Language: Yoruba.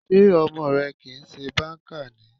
Sé ọmọ rẹ kìí ṣe banker ni?